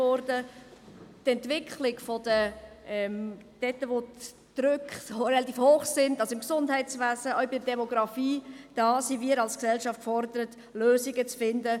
Was die Entwicklung anbelangt, dort wo der Druck relativ hoch ist, also im Gesundheitswesen, auch in der Demografie, sind wir als Gesellschaft gefordert, Lösungen zu finden.